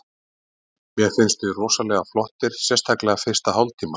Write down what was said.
Mér finnst við rosalega flottir, sérstaklega fyrsta hálftímann.